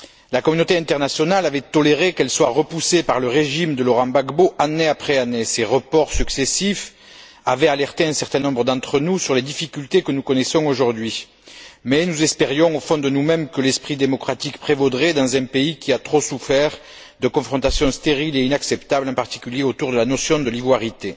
La communauté internationale avait toléré qu'elles soient repoussées par le régime de Laurent Gbagbo année après année. Ces reports successifs avaient alerté un certain nombre d'entre nous sur les difficultés que nous connaissons aujourd'hui mais nous espérions au fond de nous mêmes que l'esprit démocratique prévaudrait dans un pays qui a trop souffert de confrontations stériles et inacceptables, en particulier autour de la notion de l'ivoirité.